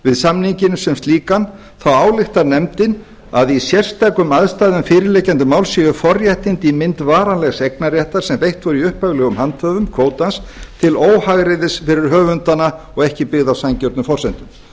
við samninginn sem slíkan þá ályktar nefndin að í sérstökum aðstæðum fyrirliggjandi máls séu forréttindi í mynd varanlegs eignarréttar sem veitt voru upphaflegum handhöfum kvótans til óhagræðis fyrir höfundana og ekki byggð á sanngjörnum forsendum